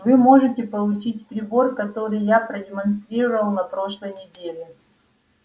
вы можете получить прибор который я продемонстрировал на прошлой неделе